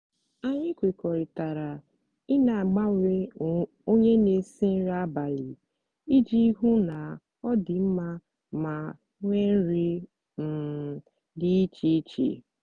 anyị kwekọrịtara i n'agbanwe onye n'esi nri abalị iji hụ na ọ dị mma ma nwee nri um dị iche iche